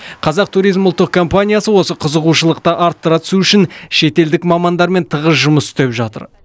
қазақ туризм ұлттық компаниясы осы қызығушылықты арттыра түсу үшін шетелдік мамандармен тығыз жұмыс істеп жатыр